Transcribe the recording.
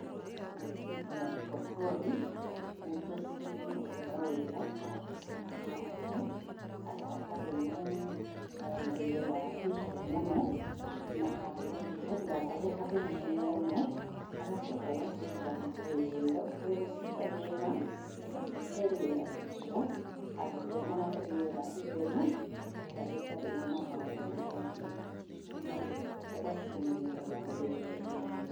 Ici tũciĩtaga brokoli nĩ tũcigaga wega handũ hahehu, handũ hatarĩ na rĩera rĩhiũ mũno, na handũ ningĩ hatigakorwo he hahehu mũno, ũgacoka ũgaciga wega ũtegũciganĩrĩra ũgacihe rĩera rĩega handũ hena rĩera itheru, rĩera rĩtarĩ na maũndũ maingĩ, na ũgacimenyerera wega.